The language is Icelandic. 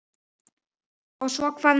Og svo hvað næst?